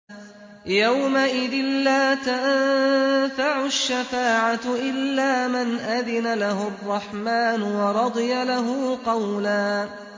يَوْمَئِذٍ لَّا تَنفَعُ الشَّفَاعَةُ إِلَّا مَنْ أَذِنَ لَهُ الرَّحْمَٰنُ وَرَضِيَ لَهُ قَوْلًا